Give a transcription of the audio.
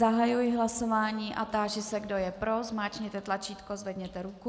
Zahajuji hlasování a táži se, kdo je pro, zmáčkněte tlačítko, zvedněte ruku.